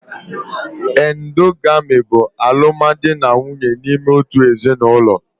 Endogamy bụ alụmdi na nwunye n'ime otu ezinụlọ